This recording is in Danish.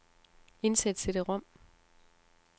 Indsæt cd-rom.